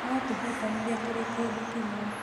No tũhotanire tũrĩ kĩndũ kĩmwe